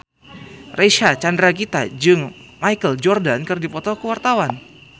Reysa Chandragitta jeung Michael Jordan keur dipoto ku wartawan